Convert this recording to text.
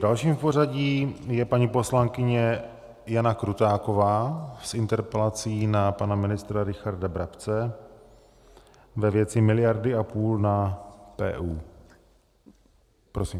Dalším v pořadí je paní poslankyně Jana Krutáková s interpelací na pana ministra Richarda Brabce ve věci miliardy a půl na PÚ. Prosím.